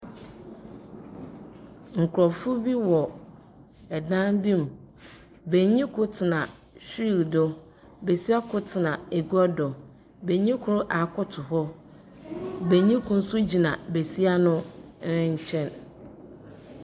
Nkorɔfo bi wɔ dan bi mu. Benyin kor tsena wheel do. Besia kor tsena egua do. Benyin kor akoto hɔ, benyin kor nso gyina besia no nkyɛn.